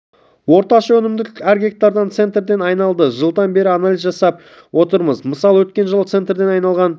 орташа өнімділік әр гектардан центнерден айналды жылдан бері анализ жасап отырмыз мысалы өткен жылы центнерден айналған